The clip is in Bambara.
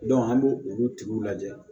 an b'o olu tigiw lajɛ